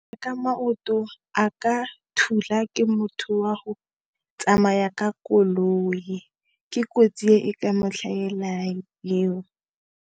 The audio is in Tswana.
Ka maoto, a ka thula ke motho wa go tsamaya ka koloi, ke kotsi e e ka mo hlahelang eo.